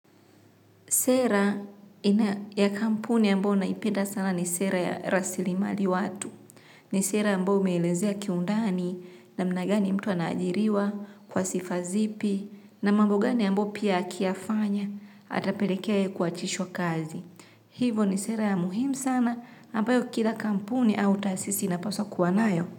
Sera ya kampuni ambayo naipenda sana ni sera ya rasilimali watu, ni sera ambayo umeelezea kiundani namna gani mtu anaajiriwa kwa sifa zipi na mambo gani ambayo pia akiyafanya atapelekea yeye kuachishwa kazi. Hivo ni sera ya muhimu sana, ambayo kila kampuni au taasisi inapaswa kuwa nayo.